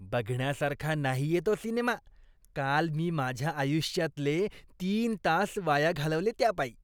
बघण्यासारखा नाहीये तो सिनेमा. काल मी माझ्या आयुष्यातले तीन तास वाया घालवले त्यापायी.